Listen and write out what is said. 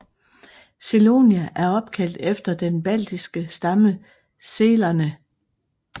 Selonia er opkaldt efter den baltiske stamme selerne